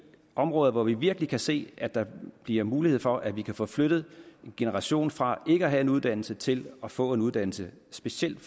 områder hvor vi virkelig kan se at der bliver mulighed for at vi kan få flyttet en generation fra ikke at have en uddannelse til at få en uddannelse specielt